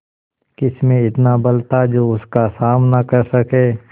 किसमें इतना बल था जो उसका सामना कर सके